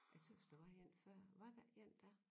Jeg tøs der var en før var der ikke en dér